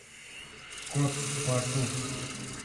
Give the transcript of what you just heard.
кот в порту